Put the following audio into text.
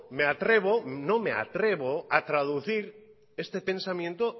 me atrevo no me atrevo a traducir este pensamiento